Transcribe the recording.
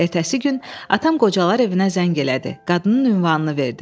Ertəsi gün atam qocalar evinə zəng elədi, qadının ünvanını verdi.